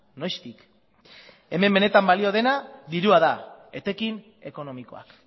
noiztik hemen benetan balio dena dirua da etekin ekonomikoak